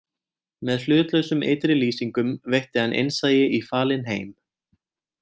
Með hlutlausum ytri lýsingum veitti hann innsæi í falinn heim